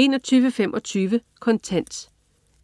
21.25 Kontant